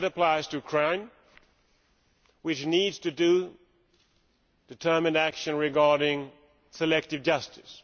That applies to Ukraine, which needs to take determined action regarding selective justice.